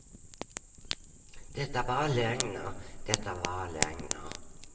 Det är bara lögner, det är bara lögner.